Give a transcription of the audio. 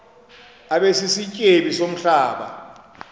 abe sisityebi somhlaba